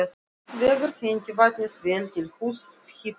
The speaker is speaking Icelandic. Hins vegar hentaði vatnið vel til húshitunar.